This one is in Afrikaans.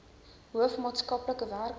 hoof maatskaplike werker